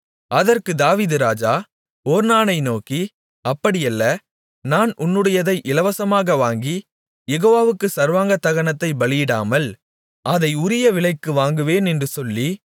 அதற்கு தாவீது ராஜா ஒர்னானை நோக்கி அப்படியல்ல நான் உன்னுடையதை இலவசமாக வாங்கி யெகோவாவுக்குச் சர்வாங்க தகனத்தைப் பலியிடாமல் அதை உரிய விலைக்கு வாங்குவேன் என்று சொல்லி